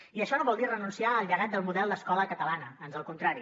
i això no vol dir renunciar al llegat del model d’escola catalana ans al contrari